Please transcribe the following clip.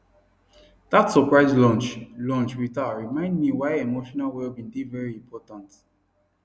dat surprise lunch lunch with her remind me why emotional wellbeing dey very important